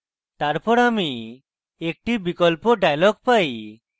তারপর আমি একটি বিকল্প dialog পাই